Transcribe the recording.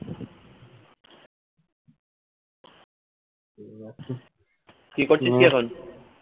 কি করছিস কি এখন